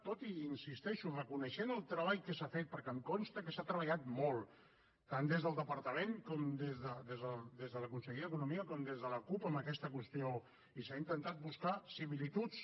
tot i hi insisteixo reconeixent el treball que s’ha fet perquè em consta que s’ha treballat molt tant des del departament des de la conselleria d’economia com des de la cup en aquesta qüestió i s’han intentat buscar similituds